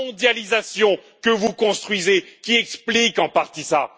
la mondialisation que vous construisez qui explique en partie cela.